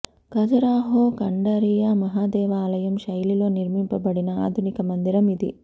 ఖజురాహో ఖండరీయ మహాదేవ ఆలయం శైలిలో నిర్మింపబడిన ఆధునిక మందిరం ఇది